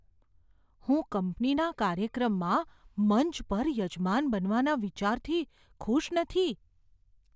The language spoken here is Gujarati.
હું કંપનીના કાર્યક્રમમાં મંચ પર યજમાન બનવાના વિચારથી ખુશ નથી.